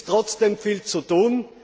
Es ist trotzdem viel zu tun.